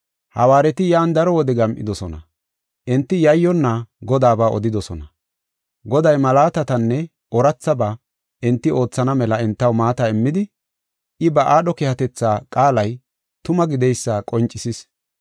Hawaareti yan daro wodiya gam7idosona. Enti yayyonna Godaaba odidosona. Goday malaatatanne oorathaba enti oothana mela entaw maata immidi, I ba aadho keehatetha qaalay tuma gideysa qoncisis.